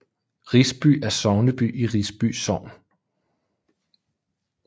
Risby er sogneby i Risby Sogn